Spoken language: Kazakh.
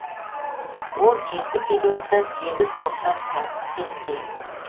ол жеті периодтан сегіз топтан тұратын кесте